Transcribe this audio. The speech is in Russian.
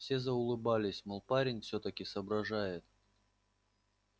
все заулыбались мол парень всё-таки соображает